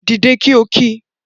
Dìde kí o kí!